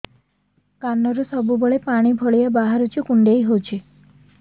କାନରୁ ସବୁବେଳେ ପାଣି ଭଳିଆ ବାହାରୁଚି କୁଣ୍ଡେଇ ହଉଚି